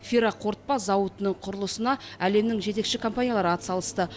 ферроқорытпа зауытының құрылысына әлемнің жетекші компаниялары ат салысты